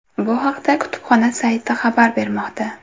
Bu haqda kutubxona sayti xabar bermoqda .